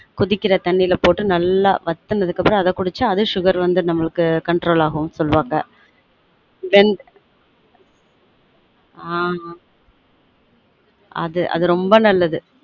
கொதிக்கிற தண்ணில போட்டு நல்லா வத்துனதுக்கு அப்புறம் அத குடிச்சா அது sugar வந்து நம்முளுக்கு control ஆகும் சொல்லுவாங்க ரெண்டு ஆன் அது ரொம்ப நல்லது